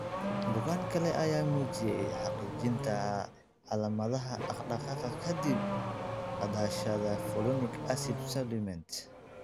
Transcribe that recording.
Bukaan kale ayaa muujiyay hagaajinta calaamadaha dhaqdhaqaaqa ka dib qaadashada folinic acid supplements.